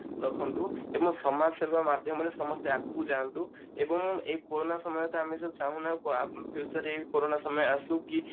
ରଖନ୍ତୁ ଏବଂ ସମାଜସେବା ମାଧ୍ୟମରେ ସମସ୍ତେ ଆଗକୁ ଯାଅନ୍ତୁ ଏବଂ ଏଇ କୋରୋନା ସମୟରେ ତ ଆମେ ଯୋଉ ଚାହୁଁନେ future ରେ ଏଇ କରୋନା ସମୟ ଆସୁ କି